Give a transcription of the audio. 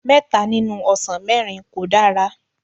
mẹta nínú ọsàn mẹ́rin kò dára.